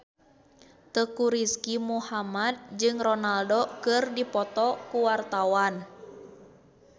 Teuku Rizky Muhammad jeung Ronaldo keur dipoto ku wartawan